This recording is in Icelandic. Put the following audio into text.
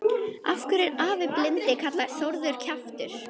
Af hverju er afi blindi kallaður Þórður kjaftur?